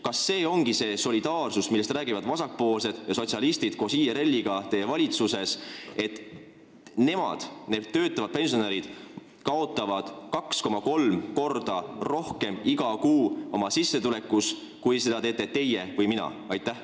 Kas see ongi see solidaarsus, millest räägivad teie valitsuses vasakpoolsed ja sotsialistid koos IRL-iga, et need töötavad pensionärid kaotavad oma sissetulekust iga kuu 2,3 korda rohkem kui teie või mina?